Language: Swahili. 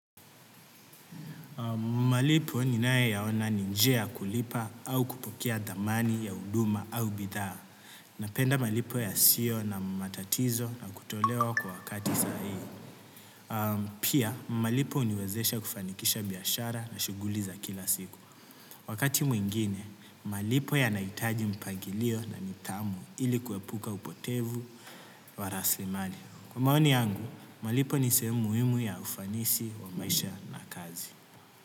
Malipo ninayaona ni njia kulipa au kupokea thamani ya huduma au bidhaa. Napenda malipo yasio na matatizo na kutolewa kwa wakati sahihi. Pia, malipo huniwezesha kufanikisha biashara na shughuli za kila siku. Wakati mwingine, malipo yanahitaji mpangilio na nidhamu ili kuepuka upotevu wa rasilimali. Kwa maoni yangu, malipo ni sehemu muhimu ya ufanisi wa maisha na kazi.